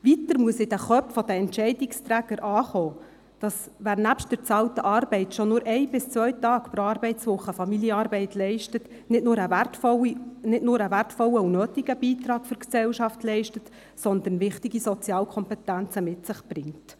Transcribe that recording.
Weiter muss in den Köpfen der Entscheidungsträger ankommen, dass nicht nur ein wertvoller und nötiger Beitrag an die Gesellschaft leistet, wer nebst der bezahlten Arbeit schon nur ein bis zwei Tage pro Arbeitswoche Familienarbeit leistet, sondern man dadurch wichtige Sozialkompetenzen mit sich bringt.